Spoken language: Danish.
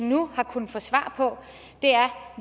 har kunnet få svar på er